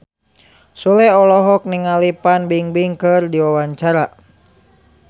Sule olohok ningali Fan Bingbing keur diwawancara